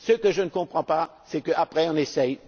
Ce que je ne comprends pas, c'est que, après, on essaie